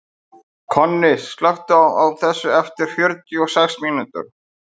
Konni, slökktu á þessu eftir fjörutíu og sex mínútur.